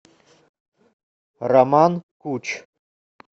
роман куч